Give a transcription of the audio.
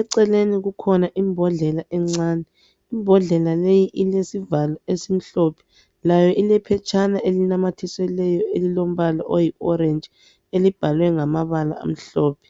Eceleni kukhona imbodlela encane. Imbodlela leyi ilesivalo esimhlophe. Layo ilephetshana elinamathiselweyo elilombala oyi orentshi elibhalwe ngamabala amhlophe.